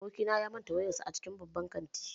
Abokina ya manta wayarsa a cikin babban kanti